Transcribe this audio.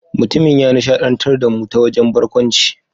Mutumin ya nishadantar da mu ta wajen barkwanci.